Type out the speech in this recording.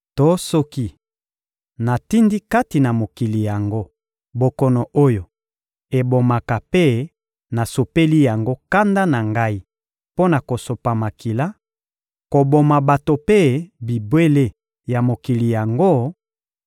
To soki natindi kati na mokili yango bokono oyo ebomaka mpe nasopeli yango kanda na Ngai mpo na kosopa makila, koboma bato mpe bibwele ya mokili yango;